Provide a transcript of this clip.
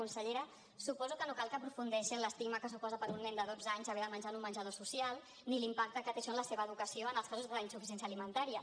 consellera suposo que no cal que aprofundeixi en l’estigma que suposa per a un nen de dotze anys haver de menjar en un menjador social ni l’impacte que té això en la seva educació en els casos d’insuficiència alimentària